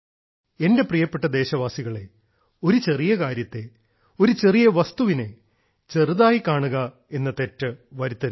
എന്റെ പ്രിയപ്പെട്ട ദേശവാസികളെ ഒരു ചെറിയ കാര്യത്തെ ഒരു ചെറിയ വസ്തുവിനെ ചെറുതായി കാണുക എന്ന തെറ്റ് വരുത്തരുത്